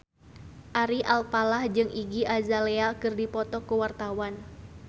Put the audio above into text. Ari Alfalah jeung Iggy Azalea keur dipoto ku wartawan